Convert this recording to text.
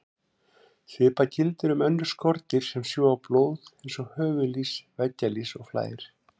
Svipað gildir um önnur skordýr sem sjúga blóð eins og höfuðlýs, veggjalýs og flær.